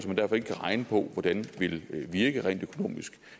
man derfor ikke kan regne på hvordan vil virke rent økonomisk